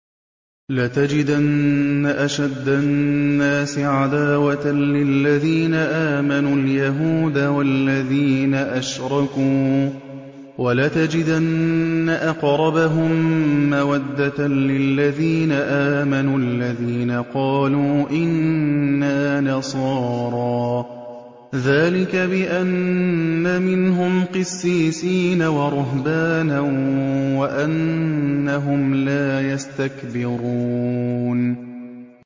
۞ لَتَجِدَنَّ أَشَدَّ النَّاسِ عَدَاوَةً لِّلَّذِينَ آمَنُوا الْيَهُودَ وَالَّذِينَ أَشْرَكُوا ۖ وَلَتَجِدَنَّ أَقْرَبَهُم مَّوَدَّةً لِّلَّذِينَ آمَنُوا الَّذِينَ قَالُوا إِنَّا نَصَارَىٰ ۚ ذَٰلِكَ بِأَنَّ مِنْهُمْ قِسِّيسِينَ وَرُهْبَانًا وَأَنَّهُمْ لَا يَسْتَكْبِرُونَ